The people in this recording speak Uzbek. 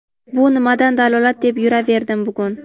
Bu nimadan dalolat deb yuraverdim bugun.